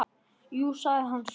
Já, sagði hann svo.